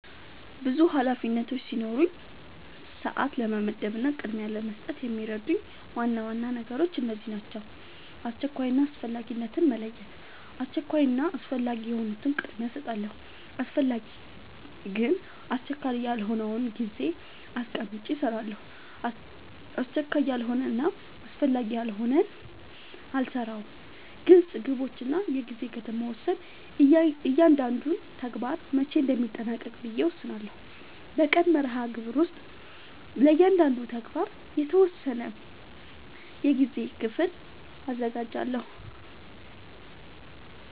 ብዙ ኃላፊነቶች ሲኖሩኝ ሰዓት ለመመደብ እና ቅድሚያ ለመስጠት የሚረዱኝ ዋና ዋና ነገሮች እነዚህ ናቸው :-# አስቸኳይ እና አስፈላጊነትን መለየት:- አስቸኳይ እና አስፈላጊ የሆኑትን ቅድሚያ እሰጣለሁ አስፈላጊ ግን አስቸካይ ያልሆነውን ጊዜ አስቀምጨ እሰራለሁ አስቸካይ ያልሆነና አስፈላጊ ያልሆነ አልሰራውም # ግልፅ ግቦች እና የጊዜ ገደብ መወሰን እያንዳንዱን ተግባር መቼ እንደሚጠናቀቅ ብዬ እወስናለሁ በቀን መርሃግብር ውስጥ ለእያንዳንዱ ተግባር የተወሰነ የጊዜ ክፍል አዘጋጃለሁ